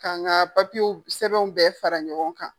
Ka n ka papiwu sɛbɛnw bɛɛ fara ɲɔgɔn kan.